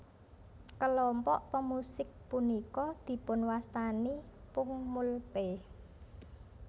Kelompok pemusik punika dipunwastani pungmulpae